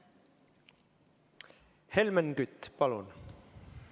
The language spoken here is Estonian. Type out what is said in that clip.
Helmen Kütt, palun!